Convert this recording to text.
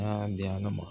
A y'a di ala ma